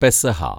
പെസഹ